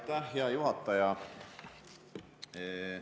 Aitäh, hea juhataja!